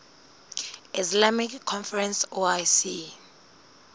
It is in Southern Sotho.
islamic conference oic